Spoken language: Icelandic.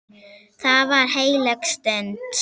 Það var heilög stund.